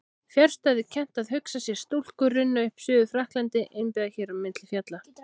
Fjarstæðukennt að hugsa sér stúlku runna upp í Suður-Frakklandi innibyrgða hér á milli fjalla.